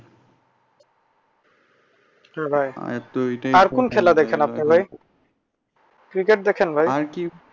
হ্যাঁ ভাই আর কোন খেলা দেখেন আপনি ভাই? cricket দেখেন ভাই?